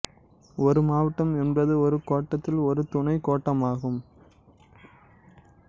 ஒரு மாவட்டம் என்பது ஒரு கோட்டத்தில் ஒரு துணைக் கோட்டமாகும்